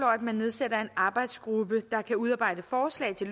at man nedsætter en arbejdsgruppe der kan udarbejde forslag til